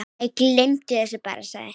Æ, gleymdu því bara- sagði